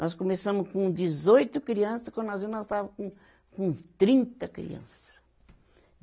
Nós começamos com dezoito criança, quando nós vimos nós estava com, com trinta criança.